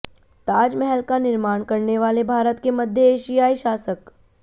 ताजमहल का निर्माण करने वाले भारत के मध्य एशियाई शासक